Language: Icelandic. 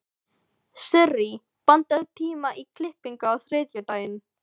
Sirrí, pantaðu tíma í klippingu á þriðjudaginn.